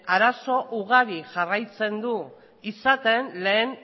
arazo ugari jarraitzen du izaten lehen